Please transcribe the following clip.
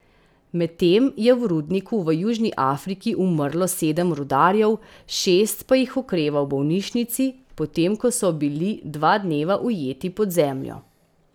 Medtem je v rudniku v Južni Afriki umrlo sedem rudarjev, šest pa jih okreva v bolnišnici, potem ko so bili dva dneva ujeti pod zemljo.